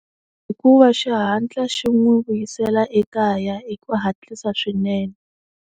Hikuva xi hatla xi n'wi vuyisela ekaya hi ku hatlisa swinene.